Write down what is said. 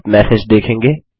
आप मैसेज देखेंगे